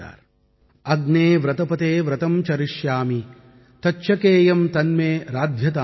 ஓம் அக்நே வ்ரதபதே வ்ரதம் சரிஷ்யாமி தச்சகேயம் தன்மேராத்யதாம்